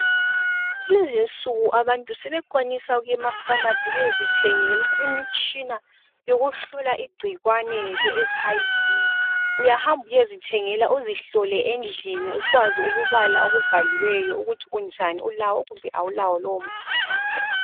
Kulezinsuku abantu sebekwanisa ukuy' emafamasi beyezithengela imitshina yokuhlola igcikwane le etshi ayi vi. Uyahamba uyezithengela uzihlole endlini, ukwazi ukubala okubhaliweyo ukwazi ukuthi kunjani. Ulawo kumbe awulawo lowo mkhuhlane.